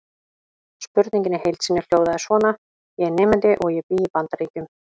Spurningin í heild sinni hljóðaði svona: Ég er nemandi og ég bý í Bandaríkjum.